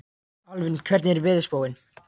Alvin, hvernig er veðurspáin?